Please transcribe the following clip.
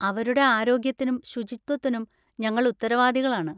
അവരുടെ ആരോഗ്യത്തിനും ശുചിത്വത്തിനും ഞങ്ങൾ ഉത്തരവാദികളാണ്.